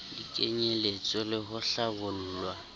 di kenyelletswe le ho hlabollwa